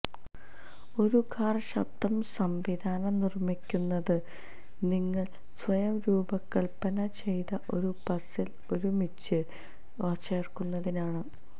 ഒരു കാർ ശബ്ദ സംവിധാനം നിർമ്മിക്കുന്നത് നിങ്ങൾ സ്വയം രൂപകൽപ്പന ചെയ്ത ഒരു പസിൽ ഒരുമിച്ച് ചേർക്കുന്നതിനാണ്